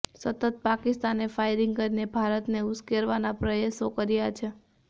સતત પાકિસ્તાનેૈ ફાયરિંગ કરીને ભારતને ઉશ્કેરવાના પ્રયાસો કર્યા છે